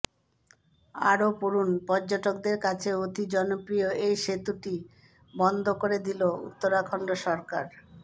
আরও পড়ুন পর্যটকদের কাছে অতি জনপ্রিয় এই সেতুটি বন্ধ করে দিল উত্তরাখণ্ড সরকার